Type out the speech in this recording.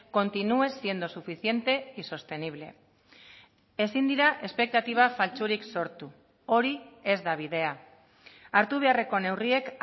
continúe siendo suficiente y sostenible ezin dira espektatiba faltsurik sortu hori ez da bidea hartu beharreko neurriek